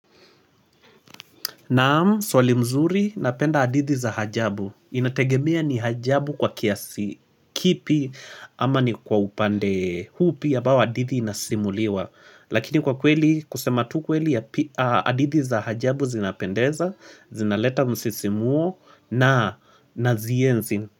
Naam, swali mzuri, napenda hadithi za ajabu. Inategemea ni hajabu kwa kiasi, kipi ama ni kwa upande upi ambao hadithi inasimuliwa. Lakini kwa kweli, kusema tu kweli ya hadithi za hajabu zinapendeza, zinaleta msisimuo na nazienzi.